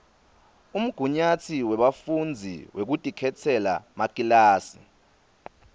umgunyatsi webafundzi wekutikhetsela makilasi